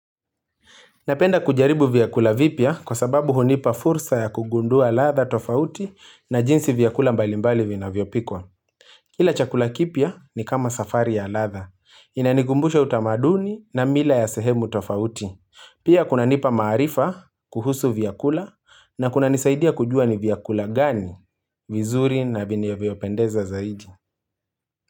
Napenda kujaribu vyakula vipya kwa sababu hunipa fursa ya kugundua ladha tofauti na jinsi vyakula mbalimbali vinavyopikwa. Kula chakula kipya ni kama safari ya ladha. Inanikumbusha utamaduni na mila ya sehemu tofauti. Pia kunanipa maarifa kuhusu vyakula na kunanisaidia kujua ni vyakula gani vizuri na vinavyopendeza zaidi.